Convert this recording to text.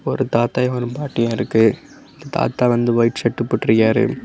ஒரு தாத்தா ஒரு பாட்டியும் இருக்கு தாத்தா வந்து வைட் ஷர்ட் போட்ருக்காரு.